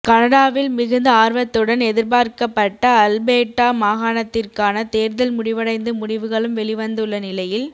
கனடாவில் மிகுந்த ஆர்வத்துடன் எதிர்பார்க்கப்பட்ட அல்பேட்டா மாகாணத்திற்கான தேர்தல் முடிவடைந்து முடிவுகளும் வெளிவந்துள்ள நிலையில்